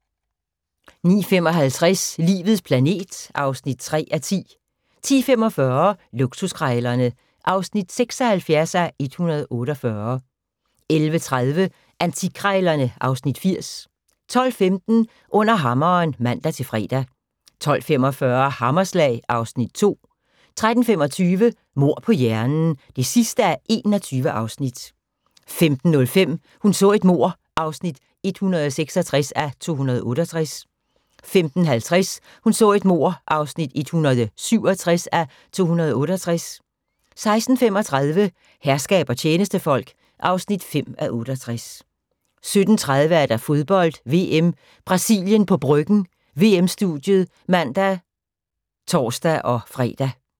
09:55: Livets planet (3:10) 10:45: Luksuskrejlerne (76:148) 11:30: Antikkrejlerne (Afs. 80) 12:15: Under hammeren (man-fre) 12:45: Hammerslag (Afs. 2) 13:25: Mord på hjernen (21:21) 15:05: Hun så et mord (166:268) 15:50: Hun så et mord (167:268) 16:35: Herskab og tjenestefolk (5:68) 17:30: Fodbold: VM - Brasilien på Bryggen – VM-studiet (man og tor-fre)